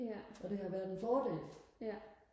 og det har været en fordel